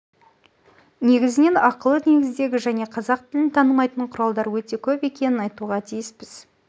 негізінен ақылы негіздегі және қазақ тілін танымайтын құралдар өте көп екенін айтуға тиіспіз